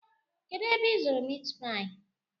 Kedụ ebe ị zụrụ mitpaị?